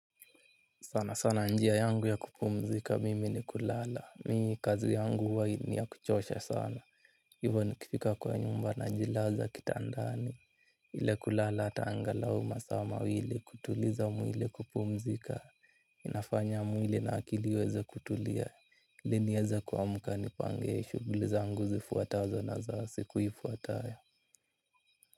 Sana sana njia yangu ya kupumzika mimi ni kulala mimi kazi yangu huwa ni yakuchosha sana. Hivo nikifika kwa nyumba najilaza kitandani. Ile kulala hata anglau masaa mawili kutuliza mwili kupumzika. Inafanya mwili na akili iweze kutulia ili niweze kuamka nipange shughli zangu zifuatazo na za siku ifuatayo.